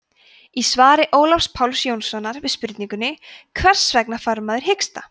í svari ólafs páls jónssonar við spurningunni hvers vegna fær maður hiksta